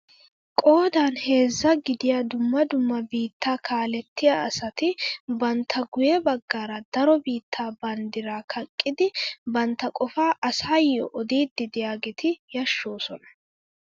Qoodan heezzaa gidiyaa dumma dumma biittaa kalettiyaa asati bantta guye baggaara daro biittaa banddiraa kaqqidi bantta qofaa asaayo odiidi de'iyaageti yashshoosona!